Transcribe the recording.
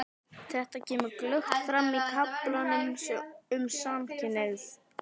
Þetta kemur glöggt fram í kaflanum um samkynhneigð.